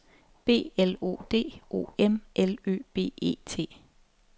B L O D O M L Ø B E T